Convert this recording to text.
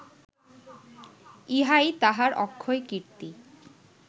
ইহাই তাঁহার অক্ষয় কীর্তি